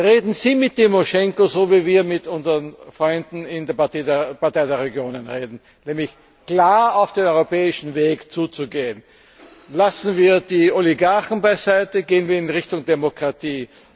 Reden Sie mit Timoschenko so, wie wir mit unseren Freunden in der Partei der Regionen reden, nämlich klar auf den europäischen Weg zuzugehen. Lassen wir die Oligarchen beiseite, gehen wir in Richtung Demokratie.